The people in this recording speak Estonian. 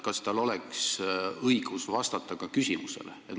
Kas tal on õigust vastata ka küsimusele?